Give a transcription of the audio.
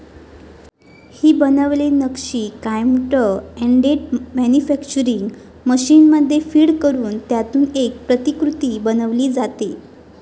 ही बनवलेली नक्षी computer aided manufacturing मशीनमध्ये फीड करून त्यातून एक प्रतिकृती बनवली जाते.